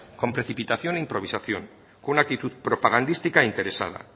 con precipitación e improvisación con una actitud propagandística e interesada